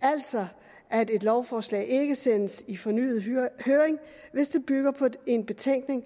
altså at et lovforslag ikke sendes i fornyet høring hvis det bygger på en betænkning